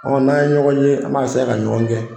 Ɔ n'an ye ɲɔgɔn ye an b'a eseye ka ɲɔgɔn gɛn